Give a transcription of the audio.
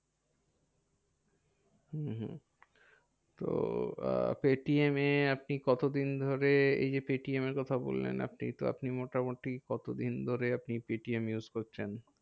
হম হম তো আহ পেটিএমে আপনি কত দিন ধরে এই যে পেটিএমের কথা বললেন আপনি? তো আপনি মোটামুটি কত দিন ধরে আপনি পেটিএম use করছেন?